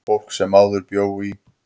Fólk sem áður bjó í